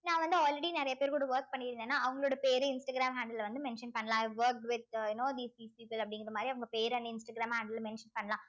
நான் வந்து already நிறைய பேர் கூட work பண்ணி இருந்தேன்னா அவங்களோட பேரு இன்ஸ்டாகிராம் handle ல வந்து mention பண்ணலாம் i worked with you know these pe~ people அப்படிங்கிற மாதிரி அவங்க பேரை இன்ஸ்டாகிராம அதுல mention பண்ணலாம்